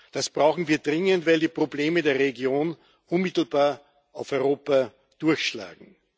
Das brauchen wir dringend, weil die Probleme der Region unmittelbar auf Europa durchschlagen.